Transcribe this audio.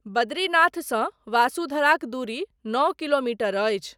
बद्रीनाथसँ वासुधराक दूरी नओ किलोमीटर अछि।